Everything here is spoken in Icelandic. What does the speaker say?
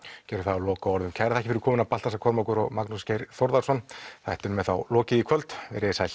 gerum það að lokaorðum kærar fyrir komuna Baltasar Kormákur og Magnús Geir Þórðarson þættinum er þá lokið í kvöld veriði sæl